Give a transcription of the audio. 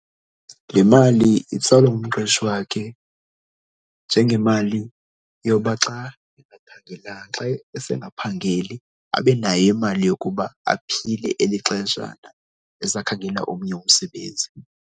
Le mali itsalwa ngumqeshi wakhe njengemali yoba xa engaphangelanga, xa esengaphangeli abe nayo imali yokuba aphile eli xeshana esakhangela omnye umsebenzi.